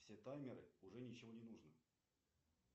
все таймеры уже ничего не нужно